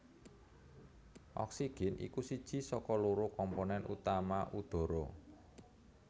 Oksigen iku siji saka loro komponen utama udhara